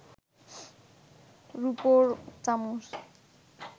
রুপোর চামচ